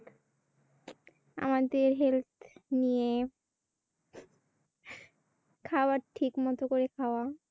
আমাদের Health নিয়ে খাবার ঠিকমত করে খাওয়া।